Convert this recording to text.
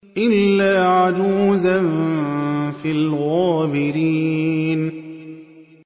إِلَّا عَجُوزًا فِي الْغَابِرِينَ